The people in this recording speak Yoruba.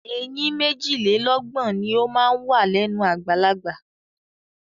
Eyín méjìlélọ́gbọ̀n ni ó máa ń wà lẹ́nu àgbàlagbà.